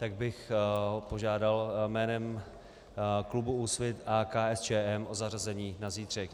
Tak bych požádal jménem klubu Úsvit a KSČM o zařazení na zítřek.